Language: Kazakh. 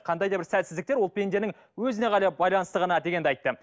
қандай да бір сәтсіздіктер ол пенденің өзіне ғана байланысты ғана дегенді айтты